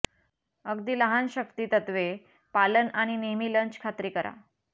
अगदी लहान शक्ती तत्त्वे पालन आणि नेहमी लंच खात्री करा